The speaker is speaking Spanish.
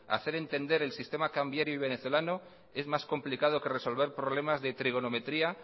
hacer entender el sistema cambiario venezolano es más complicado que resolver problemas de trigonometría